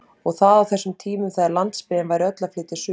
Og það á þessum tímum þegar landsbyggðin væri öll að flytja suður!